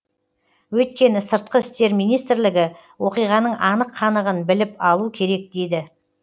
өйткені сыртқы істер министрлігі оқиғаның анық қанығын біліп алу керек дейді